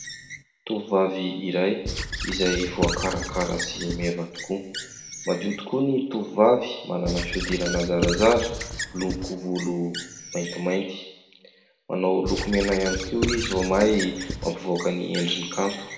Tovovavy iray izay voakarakara sy meva tokoa, madio tokoa ny tovovavy, manana fihodirana zarazara, miloko volo maintimainty, manao lokomena ihany koa izy vao mainka mampivoaka ny endriny kanto.